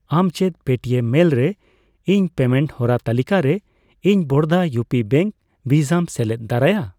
ᱟᱢ ᱪᱮᱫ ᱯᱮᱴᱤᱮᱢ ᱢᱮᱞ ᱨᱮ ᱤᱧ ᱯᱮᱢᱮᱱᱴ ᱦᱚᱨᱟ ᱛᱟᱹᱞᱤᱠᱟᱨᱮ ᱤᱧ ᱵᱚᱲᱫᱟ ᱤᱭᱩ ᱯᱤ ᱵᱮᱝᱠ ᱵᱷᱤᱥᱟᱢ ᱥᱮᱞᱮᱫ ᱫᱟᱨᱟᱭᱟ ᱾